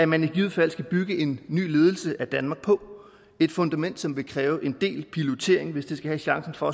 man i givet fald skal bygge en ny ledelse af danmark på et fundament som vil kræve en del pilotering hvis det skal have chancen for